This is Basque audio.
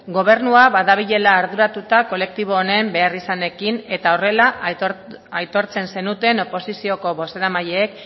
gobernua badabilela arduratuta kolektibo honen beharrizanekin eta horrela aitortzen zenuten oposizioko bozeramaileek